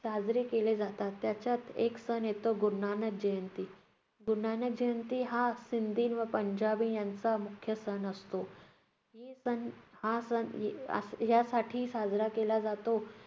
साजरे केले जातात. त्यात एक सण येतो गुरु नानक जयंती. गुरू नानक जयंती हा सिंधी व पंजाबी यांचा मुख्य सण असतो. हा सण यासाठी साजरा केला जातो,